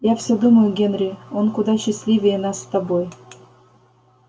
я всё думаю генри он куда счастливее нас с тобой